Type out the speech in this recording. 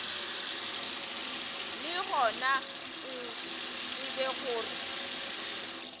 le gona o tsebe gore